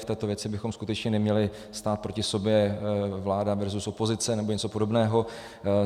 V této věci bychom skutečně neměli stát proti sobě, vláda versus opozice nebo něco podobného.